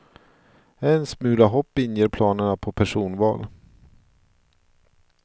En smula hopp inger planerna på personval.